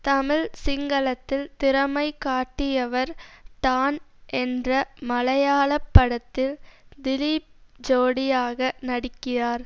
தமிழ் சிங்களத்தில் திறமை காட்டியவர் டான் என்ற மலையாள படத்தில் திலீப் ஜோடியாக நடிக்கிறார்